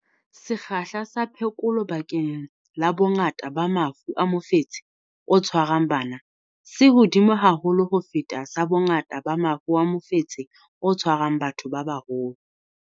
Sekgahla sa phekolo bakeng la bongata ba mafu a mofetshe o tshwarang bana se hodimo haholo ho feta sa bongata ba mafu a mofetshe o tshwarang batho ba baholo.